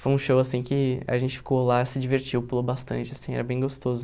Foi um show, assim, que a gente ficou lá, se divertiu, pulou bastante, assim, era bem gostoso.